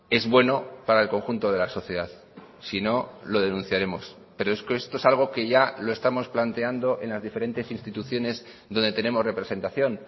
es bueno para el conjunto de la sociedad si no lo denunciaremos pero es que esto es algo que ya lo estamos planteando en las diferentes instituciones donde tenemos representación